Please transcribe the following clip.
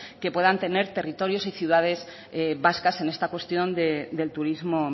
que puedan tener territorios y ciudades vascas en esta cuestión del turismo